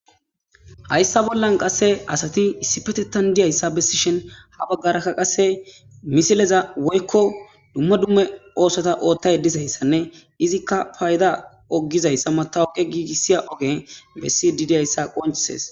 Hayisa bollan qasi asati issippetetani diyasa besishen ha bagaraka qasi misileza woyiko duma duma osota otayida dizayisa nne izika payida matawuqe gigisiya oge besidi diyasa qonccises